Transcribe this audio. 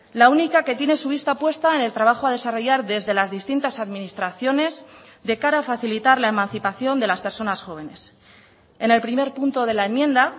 la única que tiene su vista puesta en el trabajo a desarrollar desde las distintas administraciones de cara a facilitar la emancipación de las personas jóvenes en el primer punto del la enmienda